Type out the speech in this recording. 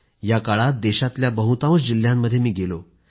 या काळामध्ये देशातल्या बहुतांश जिल्ह्यांमध्ये मी गेलो आहे